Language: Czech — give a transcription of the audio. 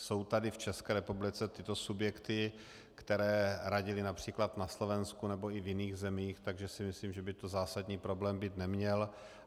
Jsou tady v České republice tyto subjekty, které radily například na Slovensku nebo i v jiných zemích, takže si myslím, že by to zásadní problém být neměl.